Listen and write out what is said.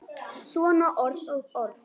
Svona orð og orð.